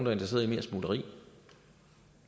er interesseret i mere smugleri